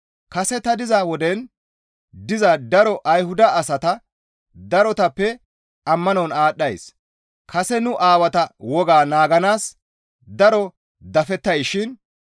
Kase ta diza woden diza daro Ayhuda asata darotappe ammanon aadhdhays; kase nu aawata wogaa naaganaas daro dafettayssishin.